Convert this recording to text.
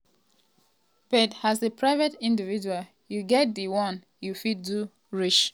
but as a private individual you get di one you fit do reach.